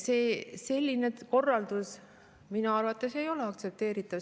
Selline korraldus minu arvates ei ole aktsepteeritav.